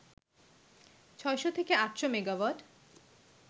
৬০০ থেকে ৮০০ মেগাওয়াট